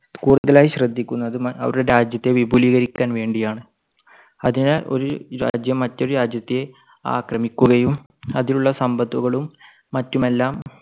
കൂടുതലായി ശ്രദ്ധിക്കുന്നത് അവരുടെ രാജ്യത്തെ വിപുലീകരിക്കാൻ വേണ്ടിയാണ്. അതിനാൽ ഒരു രാജ്യം മറ്റൊരു രാജ്യത്തെ ആക്രമിക്കുകയും അതിലുള്ള സമ്പത്തുകളും മറ്റുമെല്ലാം